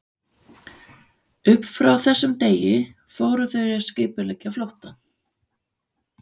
Upp frá þessum degi fóru þau að skipuleggja flóttann.